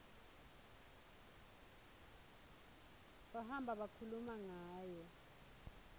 bahamba bakhuluma ngayo